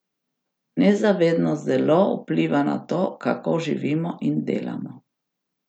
Nezavedno zelo vpliva na to, kako živimo in delamo.